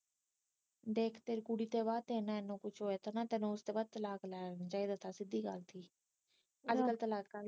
ਦੇਖ ਤੇਰੇ ਕੁੜੀ ਤੋਂ ਬਾਅਦ ਤੇਰੇ ਨਾ ਇਹਨਾ ਕੁਛ ਹੋਇਆ ਤੈਨੂੰ ਉਸਤੋਂ ਬਾਅਦ ਤਲਾਕ ਲੈ ਲੈਣਾ ਚਾਹੀਦਾ ਸੀ ਤਾ ਕੇ ਸਿੱਧੀ ਗੱਲ ਸੀ ਅਜਕਲ ਤਲਾਕਾ ਦੀਆ